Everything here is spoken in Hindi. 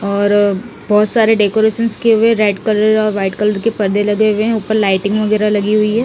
और बहोत सारे डेकोरेशंस किए हुए रेड कलर और वाइट कलर के पर्दे लगे हुए हैं ऊपर लाइटिंग वगैरा लगी हुई हैं।